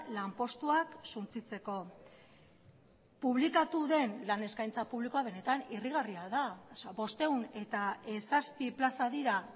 lanpostuak suntsitzeko publikatu den lan eskaintza publikoa benetan irrigarria da bostehun eta zazpi plaza dira